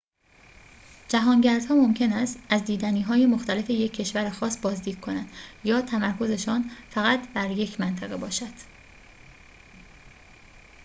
جهانگردها ممکن است از دیدنی‌های مختلف یک کشور خاص بازدید کنند یا تمرکزشان فقط بر یک منطقه باشد